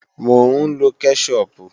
Mò ń lọ kẹ́ṣọpù